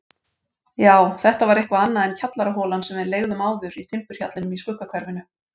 Já, þetta var eitthvað annað en kjallaraholan sem við leigðum áður í timburhjallinum í Skuggahverfinu.